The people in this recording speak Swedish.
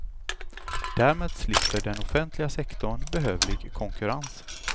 Därmed slipper den offentliga sektorn behövlig konkurrens.